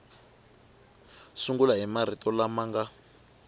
sungula hi marito lama nga